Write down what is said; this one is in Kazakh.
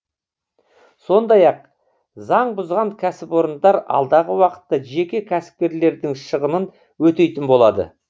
сондай ақ заң бұзған кәсіпорындар алдағы уақытта жеке кәсіпкерлердің шығынын өтейтін болады